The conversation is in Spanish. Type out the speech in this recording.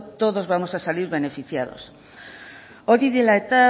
todos vamos a salir beneficiados hori dela eta